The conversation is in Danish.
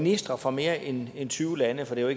ministre fra mere end tyve lande for det er